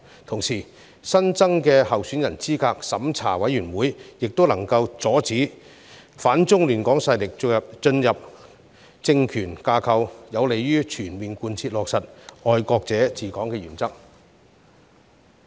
同時，新增的候選人資格審查委員會也能夠阻止反中亂港勢力進入政權架構，有利於全面貫徹落實"愛國者治港"的原則。